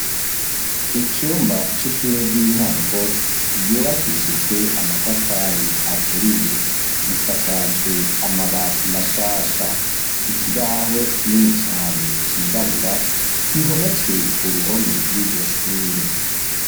Icumba c’ishure ry’intango ryubakishijwe amatafari aturiye risakajwe amabati mashasha ikibaho kinini cane cirabura gihometswe ku ruhome rw’iryo shure.